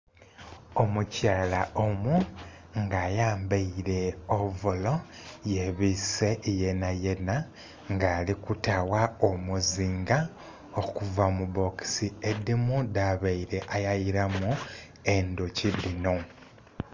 Omukyala omu nga ayambaire ovolo yebise yenayena nga alikutawa omuzinga okuva mubbokisi edhimu dhabaire ayayiramu endhuki dhino.